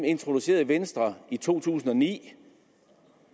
introducerede venstre i to tusind og ni